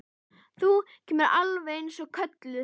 Þú kemur alveg eins og kölluð!